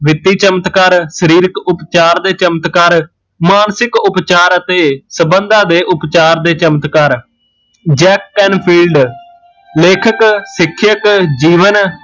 ਵਿਤੀ ਚਮਤਕਾਰ, ਸਰੀਰਕ ਚਮਤਕਾਰ, ਮਾਨਸਿਕ ਉਪਚਾਰ ਅਤੇ ਸਬੰਧਾਂ ਦੇ ਉਪਚਾਰ ਦੇ ਚਮਤਕਾਰ jacket and field ਲੇਖਕ, ਸਿੱਖਿਅਕ, ਜੀਵਨ